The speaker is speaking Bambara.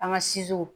An ka